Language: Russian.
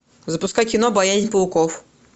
запускай кино боязнь пауков